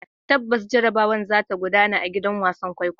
Tabbas, jarrabawar za ta gudana a gidan wasan kwaikwayo.